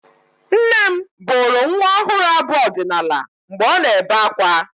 Nne m bụrụ nwa ọhụrụ abụ ọdịnaala mgbe ọ na-ebe akwa.